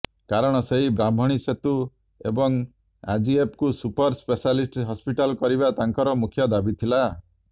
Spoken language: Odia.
କାରଣ ସେହି ବ୍ରାହ୍ମଣୀ ସେତୁ ଏବଂ ଆଜିଏପକୁ ସୁପର ସ୍ପେଶାଲିଟ ହସପିଟାଲ କରିବା ତାଙ୍କର ମୁଖ୍ୟ ଦାବୀ ଥିଲା